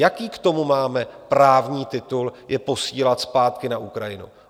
Jaký k tomu máme právní titul je posílat zpátky na Ukrajinu?